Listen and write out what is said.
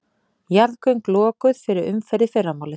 Jarðgöng lokuð fyrir umferð í fyrramálið